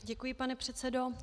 Děkuji, pane předsedo.